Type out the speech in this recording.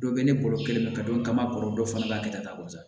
Dɔ bɛ ne bolo kɛlɛ ka don n ka ma kɔrɔ dɔ fana bɛ kɛ tan wa